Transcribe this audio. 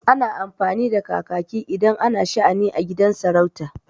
Ana amfani da kakaki idan ana sha'ani a gidan sarauta.